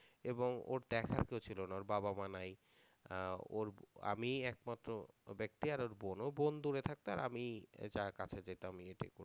এবং ওর দ্যাখার কেউ ছিল না ওর বাবা মা নাই আহ ওর ব~ আমিই একমাত্র ব্যক্তি আর ওর বোনও বোন দূরে থাকতো আর আমিই এ যা কাছে যেতাম